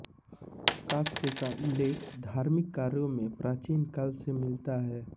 कांस्य का उल्लेख धार्मिक कार्यों में प्राचीन काल से मिलता है